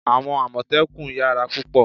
Àwọn àmọ̀tẹ́kùn yara púpò